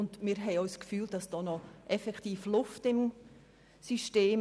Wir haben auch das Gefühl, es sei noch Luft im System.